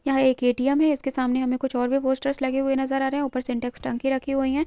यहाँ एक ए.टी.एम. है इसके सामने हमें कुछ और भी पोस्टर्स लगे हुए नजर आ रहे हैं ऊपर सिंटेक्स टंकी रखी हुई हैं।